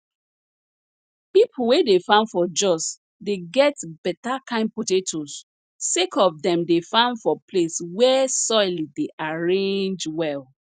pipo wey dey farm for jos dey get better kind potatoes sake of dem dey farm for place wey soil dey arrange well